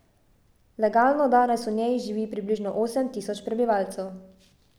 Legalno danes v njej živi približno osem tisoč prebivalcev.